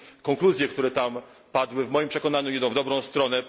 Konkluzje, które tam padły, w moim przekonaniu idą w dobrą stronę.